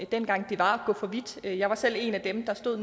dengang var at gå for vidt jeg var selv en af dem der stod